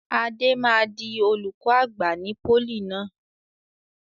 Adé máa di olùkọ́ àgbà ní pólì náà.